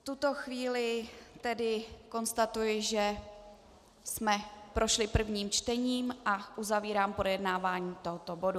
V tuto chvíli tedy konstatuji, že jsme prošli prvním čtením, a uzavírám projednávání tohoto bodu.